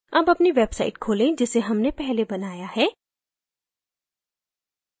अब अपनी website खोलें जिसे हमने पहले बनाया है